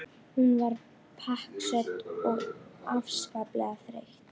Hún var pakksödd og afskaplega þreytt.